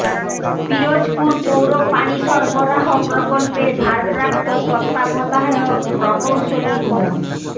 পিরোজপুর পৌর পানি সরবরাহ প্রকল্পের ভারপ্রাপ্ত তত্ত্বাবধায়ক প্রকৌশলী মো